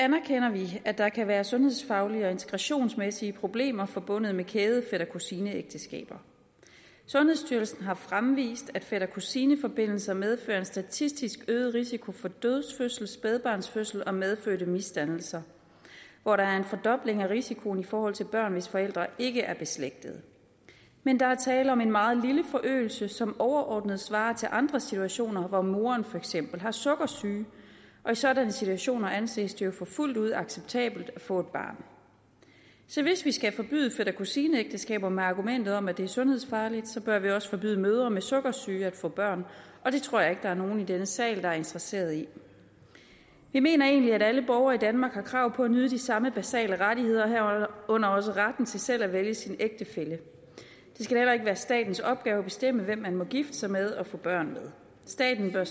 anerkender vi at der kan være sundhedsfaglige og integrationsmæssige problemer forbundet med kæde fætter kusine ægteskaber sundhedsstyrelsen har fremvist at fætter kusine forbindelser medfører en statistisk øget risiko for dødfødsel spædbarnsdød og medfødte misdannelser hvor der er en fordobling af risikoen i forhold til børn hvis forældre ikke er beslægtede men der er tale om en meget lille forøgelse som overordnet svarer til andre situationer hvor moren for eksempel har sukkersyge og i sådanne situationer anses det jo for fuldt ud acceptabelt at få et barn så hvis vi skal forbyde fætter kusine ægteskaber med argumentet om at det er sundhedsfarligt bør vi også forbyde mødre med sukkersyge at få børn og det tror jeg ikke der er nogen i denne sal der er interesseret i vi mener egentlig at alle borgere i danmark har krav på at nyde de samme basale rettigheder herunder også retten til selv at vælge sin ægtefælle det skal heller ikke være statens opgave at bestemme hvem man må gifte sig med og få børn med staten bør